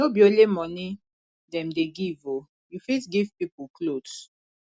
no be only moni dem dey give o you fit give pipo clothes